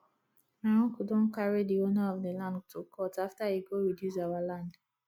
my uncle don carry the owner of the land to court after he go reduce our land